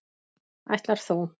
Ætlar þú.